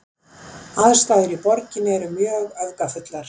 Aðstæður í borginni eru mjög öfgafullar